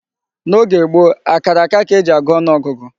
N'oge gboo, akara akara ka e ji agụ ọnụ ọgụgụ.